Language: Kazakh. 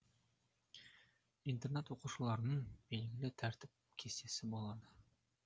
интернат оқушыларының белгілі тәртіп кестесі болады